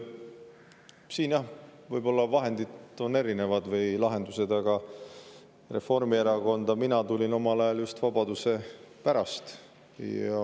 Siin võivad olla erinevad vahendid või lahendused, aga Reformierakonda tulin mina omal ajal just vabaduse pärast.